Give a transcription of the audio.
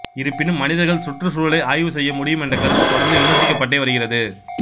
இருப்பினும் மனிதர்கள் சுற்றுச்சூழலை ஆய்வு செய்ய முடியும் என்ற கருத்து தொடர்ந்து விமர்சிக்கப்பட்டே வருகிறது